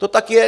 To tak je.